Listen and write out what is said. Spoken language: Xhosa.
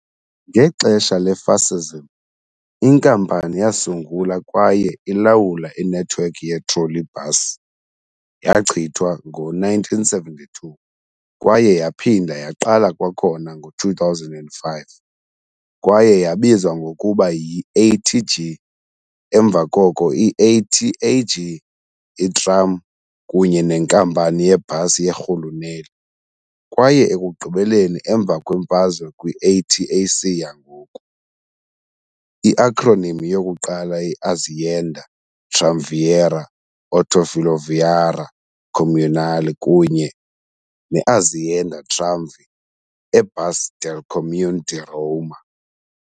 Ngexesha le-fascism inkampani yasungula kwaye ilawula inethiwekhi ye-trolleybus, yachithwa ngo-1972 kwaye yaphinda yaqala kwakhona ngo-2005, kwaye yabizwa ngokuba yi-ATG, emva koko i-ATAG, iTram kunye neNkampani yeBus yeRhuluneli, kwaye ekugqibeleni emva kwemfazwe kwi-ATAC yangoku. i-acronym yokuqala ye-Azienda Tramvieria Autofiloviaria Comunale kunye ne-Azienda Tramvie e Bus del Comune di Roma.